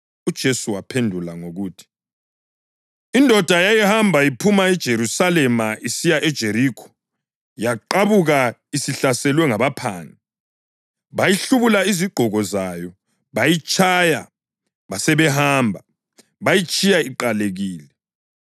UJesu waphendula ngokuthi: “Indoda yayihamba iphuma eJerusalema isiya eJerikho, yaqabuka isihlaselwa ngabaphangi. Bayihlubula izigqoko zayo, bayitshaya basebehamba, beyitshiya iqalekile.